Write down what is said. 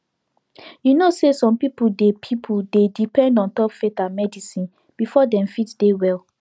you know say some people dey people dey depend ontop faith and medicine before dem fit dey well